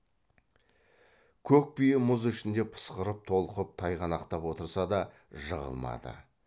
көк бие мұз ішінде пысқырып толқып тайғанақтап отырса да жығылмады